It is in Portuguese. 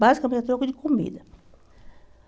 Basicamente, a troco de comida.